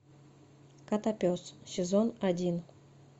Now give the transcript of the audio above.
котопес сезон один